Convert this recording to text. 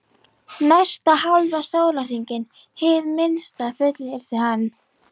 Næsta hálfa sólarhringinn, hið minnsta, fullyrti hann.